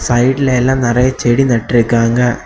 சைடுல எல்லா நெறைய செடி நட்டு இருக்காங்க.